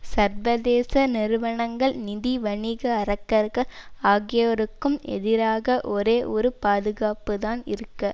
சர்வதேச நிறுவனங்கள் நிதிவணிக அரக்கர்கள் ஆகியோருக்கும் எதிராக ஒரே ஒரு பாதுகாப்புத்தான் இருக்க